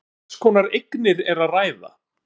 En um hvers konar eignir er að ræða?